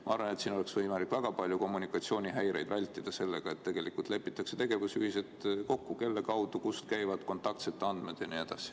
Ma arvan, et siin oleks võimalik väga paljusid kommunikatsioonihäireid vältida, kui lepitaks kokku tegevusjuhised, kelle kaudu liiguvad kontaktsete andmed jne.